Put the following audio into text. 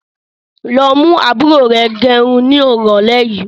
Lọ mú àbúrò rẹ gẹrun ni irọ̀lẹ́ yìí!